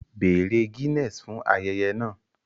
Bèèrè Guinness fún ayẹyẹ náà